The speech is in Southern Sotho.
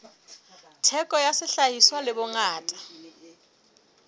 theko ya sehlahiswa le bongata